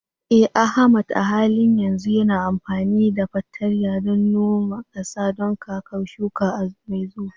Eh Ahmad a halin yanzu yana amfani da fartanya don noma ƙasa don kakar shuka mai zuwa.